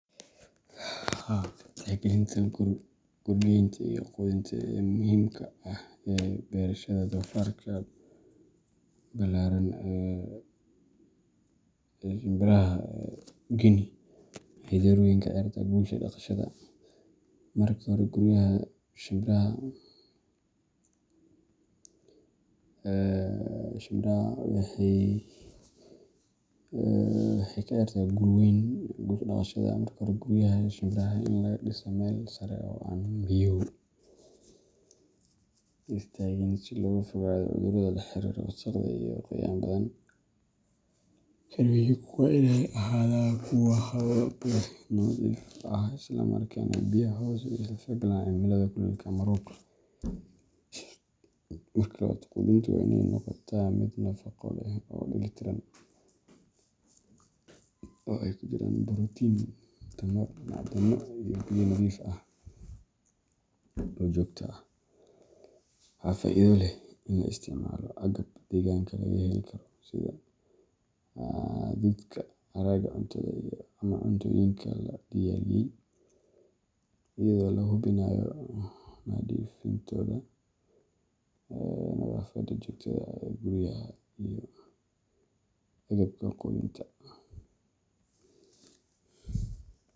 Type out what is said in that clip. Tixgalinta guryeynta iyo quudinta ee muhiimka ah ee beerashada shimbiraha ee Ballatan ee Guinea waxay door weyn ka ciyaartaa guusha dhaqashada. Marka hore, guryaha shimbiraha waa in laga dhisaa meel sare oo aan biyuhu istaagin, si looga fogaado cudurrada la xiriira wasakhda iyo qoyaan badan. Xerooyinku waa in ay ahaadaan kuwo hawo leh, nadiif ah, isla markaana bixiya hoos iyo ilaalin cimilada kuleylka ama roobka. Marka labaad, quudinta waa in ay noqotaa mid nafaqo leh oo dheellitiran, oo ay ku jiraan borotiin, tamar, macdano iyo biyo nadiif ah oo joogto ah. Waxaa faa’iido leh in la isticmaalo agab deegaanka laga heli karo sida hadhuudhka, haraaga cuntada, ama cuntooyinka la diyaariyay, iyadoo la hubinayo nadiifintooda. Nadaafadda joogtada ah ee guryaha iyo agabka quudinta.